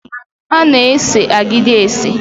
A na-ese agidi ese